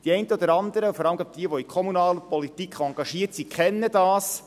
Die einen oder anderen, vor allem jene, die in der kommunalen Politik engagiert sind, kennen das: